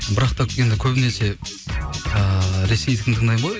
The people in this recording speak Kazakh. бірақ та енді көбінесе ыыы ресейдікін тыңдаймын ғой